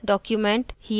* here document